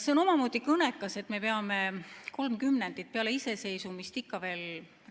See on omamoodi kõnekas, et me peame kolm kümnendit peale iseseisvumist ikka veel